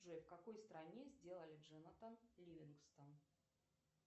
джой в какой стране сделали джонатан ливингстон